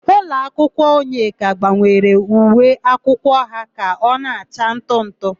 Ụlọakwụkwọ Onyeka gbanwere uwe akwụkwọ ha ka ọ na-acha ntụ ntụ.